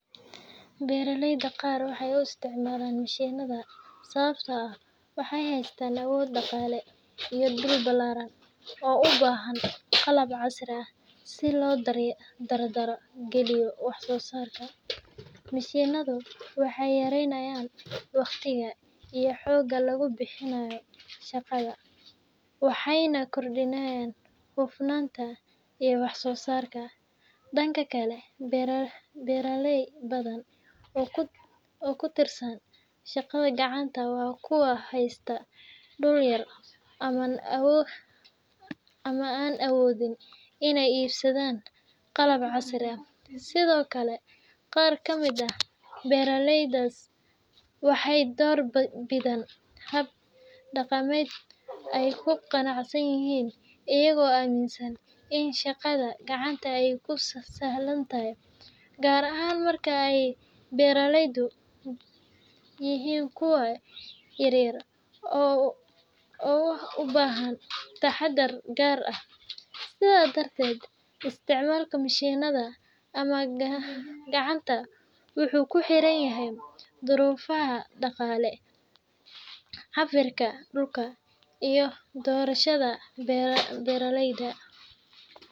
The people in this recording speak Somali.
Beeraleyda qaar waxay u isticmaalaan mishiinnada sababtoo ah waxay haystaan awood dhaqaale iyo dhul ballaaran oo u baahan qalab casri ah si loo dardar geliyo wax soo saarka. Mishiinnadu waxay yareeyaan waqtiga iyo xoogga lagu bixinayo shaqada, waxayna kordhiyaan hufnaanta iyo wax-soo-saarka. Dhanka kale, beeraley badan oo ku tiirsan shaqada gacanta waa kuwa haysta dhul yar ama aan awoodin inay iibsadaan qalab casri ah. Sidoo kale, qaar ka mid ah beeraleydaasi waxay door bidaan hab dhaqameedyo ay ku qanacsan yihiin, iyagoo aaminsan in shaqada gacanta ay u sahlan tahay, gaar ahaan marka ay beeruhu yihiin kuwo yaryar oo u baahan taxaddar gaar ah. Sidaas darteed, isticmaalka mishiinnada ama gacanta wuxuu ku xiran yahay duruufaha dhaqaale, cabbirka dhulka, iyo doorashada beeraleyda.